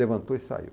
Levantou e saiu.